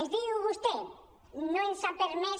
ens diu vostè no ens han permès